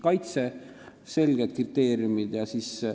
Peaksid olema selged kriteeriumid.